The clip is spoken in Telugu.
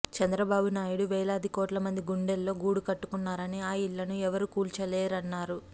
చంద్రబాబు నాయుడు వేలాది కోట్ల మంది గుండెల్లో గూడుకట్టుకున్నారని ఆ ఇళ్లును ఎవరూ కూల్చలేరన్నారు